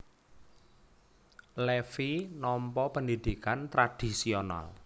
Levi nampa pendhidhikan tradhisional